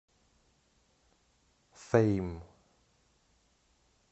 фэйм